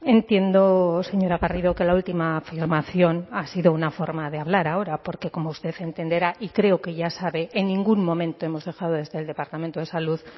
entiendo señora garrido que la última afirmación ha sido una forma de hablar ahora porque como usted entenderá y creo que ya sabe en ningún momento hemos dejado desde el departamento de salud